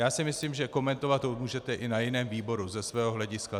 Já si myslím, že komentovat to můžete i na jiném výboru ze svého hlediska.